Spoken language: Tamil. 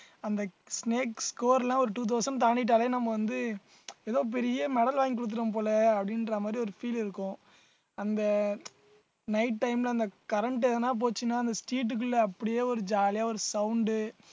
அந்த snakes score எல்லாம் ஒரு two thousand தாண்டிட்டாலே நம்ம வந்து ஏதோ பெரிய medal வாங்கி கொடுத்துட்டோம் போல அப்படின்ற மாதிரி ஒரு feel இருக்கும் அந்த night time ல இந்த current எதனா போச்சுன்னா அந்த street க்குள்ள அப்படியே ஒரு jolly ஆ ஒரு sound உ